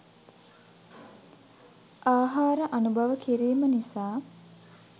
ආහාර අනුභව කිරීම නිසා